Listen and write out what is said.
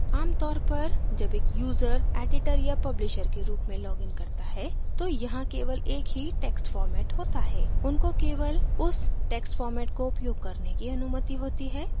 आमतौर पर जब एक यूजर editor या publisher के रूप में लॉगिन करता है तो यहाँ केवल एक ही text format होता है उनको केवल उस text format को उपयोग करने की अनुमति होती है